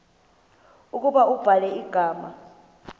ukuba ubhala igama